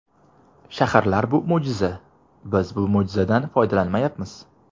Shaharlar bu mo‘jiza, biz bu mo‘jizadan foydalanmayapmiz.